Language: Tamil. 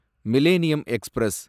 millennium express